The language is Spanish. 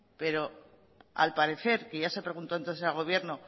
pero al parecer que ya se preguntó entonces el gobierno